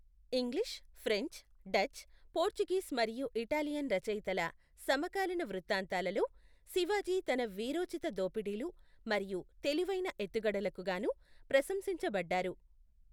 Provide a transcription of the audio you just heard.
English, French, Dutch, Portuguese మరియు Italian రచయితల సమకాలీన వృత్తాంతాలలో, శివాజీ తన వీరోచిత దోపిడీలు మరియు తెలివైన ఎత్తుగడలకు గాను ప్రశంసించబడ్డారు.